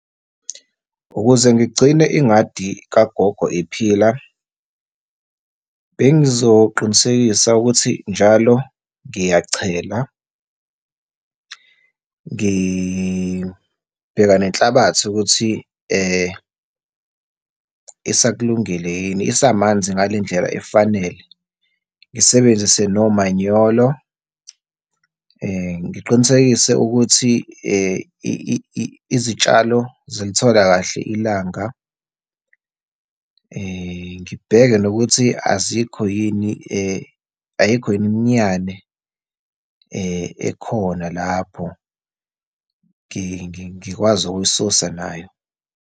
Ukuze ngigcine ingadi kagogo iphila, bengizoqinisekisa ukuthi njalo ngiyachela, ngibheka nenhlabathi ukuthi isakulungile yini, isamanzi ngale ndlela efanele. Ngisebenzise nomanyolo, ngiqinisekise ukuthi izitshalo zilithola kahle ilanga, ngibheke nokuthi azikho yini , ayikho yini imiyane ekhona lapho, ngikwazi ukuyisusa nayo.